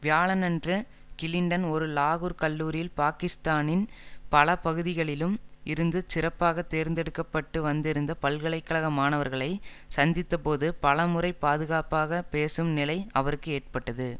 வியாழனன்று கிளின்டன் ஒரு லாகூர்க் கல்லூரியில் பாக்கிஸ்தானின் பல பகுதிகளிலும் இருந்து சிறப்பாகத் தேர்ந்தெடுக்க பட்டு வந்திருந்த பல்கலை கழக மாணவர்களைச் சந்தித்தபோது பல முறை பாதுகாப்பாகப் பேசும் நிலை அவருக்கு ஏற்பட்டது